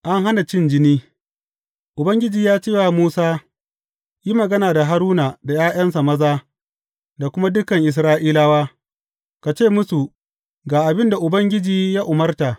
An hana cin jini Ubangiji ya ce wa Musa, Yi magana da Haruna da ’ya’yansa maza da kuma dukan Isra’ilawa, ka ce musu, Ga abin da Ubangiji ya umarta.